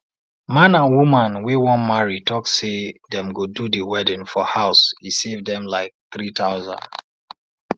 man and woman wey wan marry talk say dem go do the wedding for house e save dem like 3000